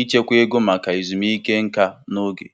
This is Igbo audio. iji nwee ike um ịla ezumike nka n'oge.